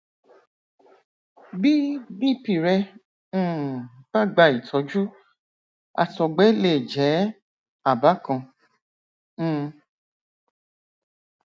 bí bp rẹ um bá gba ìtọjú àtọgbẹ lè jẹ àbá kan um